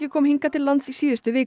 kom hingað til lands í síðustu viku